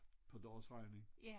På deres regning